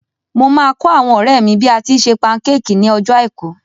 Mo máa kọ́ àwọn ọ̀rẹ́ mi bí a tíi se pancake ní ọjọ́ àìkú.